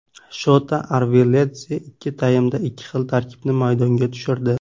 Shota Arveladze ikki taymda ikki xil tarkibni maydonga tushirdi.